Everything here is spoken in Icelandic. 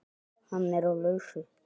Hann er á lausu.